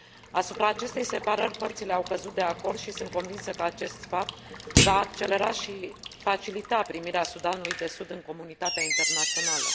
Asupra acestei separări părțile au căzut de acord și sunt convinsă că acest fapt va accelera și facilita primirea Sudanului de Sud în comunitatea internațională.